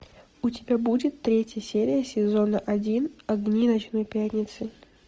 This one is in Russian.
у тебя будет третья серия сезона один огни ночной пятницы